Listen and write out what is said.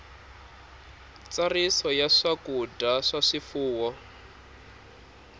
ntsariso ya swakudya swa swifuwo